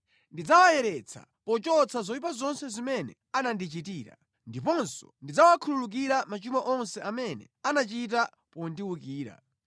Ndidzawayeretsa pochotsa zoyipa zonse zimene anandichitira, ndiponso ndidzawakhululukira machimo onse amene anachita pondiwukira.